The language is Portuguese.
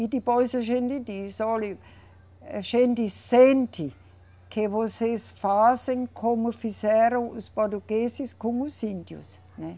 E depois a gente diz, olhe, a gente sente que vocês fazem como fizeram os portugueses com os índios, né?